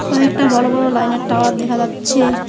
কয়েকটা বড় বড় লাইনের টাওয়ার দেখা যাচ্ছে।